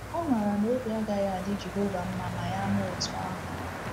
Ọ maara na obi agaghị adị Jehova mma ma ya mee otú ahụ.